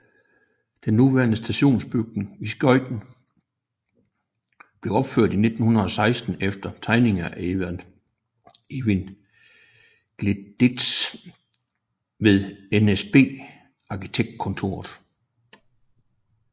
Den nuværende stationsbygning i Skøyen blev opført i 1916 efter tegninger af Eivind Gleditsch ved NSB Arkitektkontor